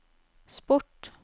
sport